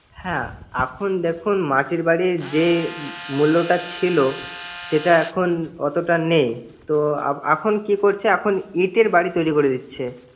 হ্যা এখন দেখুন মাটির বাড়ির যে মূল্যটা ছিল সেটা এখন এতটা নেই। তো এখন কি করছে এখন ইটের বাড়ি তৈরি করে দিচ্ছে।